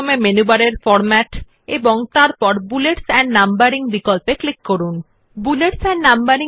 this is accessed by first clicking on the format option in the menu bar and then clicking on bullets and numbering